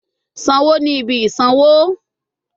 Sanwo ni ibi isanwo